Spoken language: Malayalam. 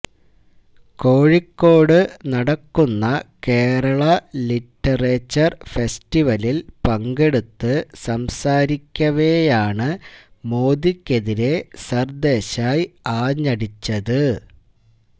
കോഴിക്കോട് നടക്കുന്ന കേരള ലിറ്ററേച്ചര് ഫെസ്റ്റിവലില് പങ്കെടുത്ത് സംസാരിക്കവേയാണ് മോദിക്കെതിരെ സര്ദേശായ് ആഞ്ഞടിച്ചത്